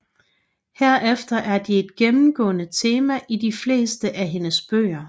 Herefter er de et gennemgående tema i de fleste af hendes bøger